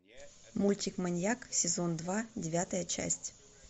мультик маньяк сезон два девятая часть